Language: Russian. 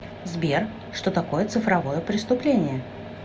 сбер что такое цифровое преступление